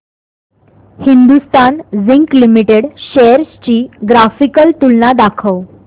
Hindustan zinc limited shares ची graphical तुलना दाखव